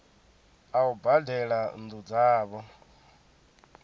a u badela nnu dzavho